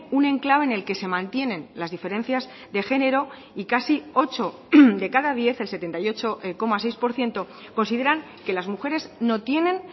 un enclave en el que se mantienen las diferencias de género y casi ocho de cada diez el setenta y ocho coma seis por ciento consideran que las mujeres no tienen